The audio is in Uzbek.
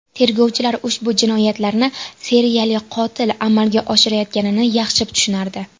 Tergovchilar ushbu jinoyatlarni seriyali qotil amalga oshirayotganini yaxshi tushunardi.